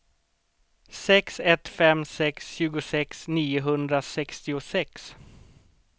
sex ett fem sex tjugosex niohundrasextiosex